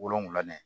Wolonfila ye